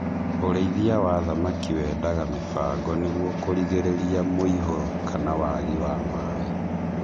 Urĩithia wa thamaki wendaga mĩbango nĩguo kũrigĩrĩria mũihũro kana waagi wa maaĩ.